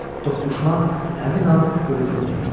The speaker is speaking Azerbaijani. Toqquşma həmin an ölüm demək idi.